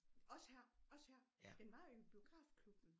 Også her også her den var jo i biografklubben